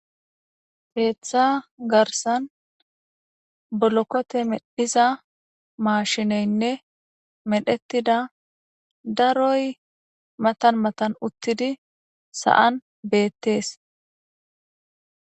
Ketha garisan bolokote medhiza mashineyinee medhitida daroy matan matan utidi sa'an betes